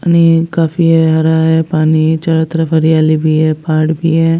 पानी काफी है हरा है पानी चारों तरफ हरियाली भी है पहाड़ भी है।